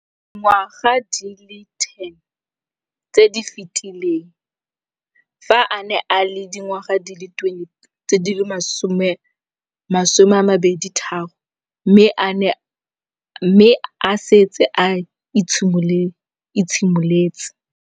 Dingwaga di le 10 tse di fetileng, fa a ne a le dingwaga di le 23 mme a setse a itshimoletse